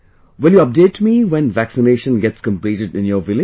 Will you update me when vaccination gets completed in your village